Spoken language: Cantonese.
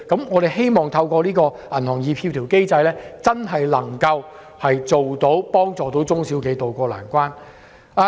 我們希望透過協調機制，真正幫助中小企渡過難關。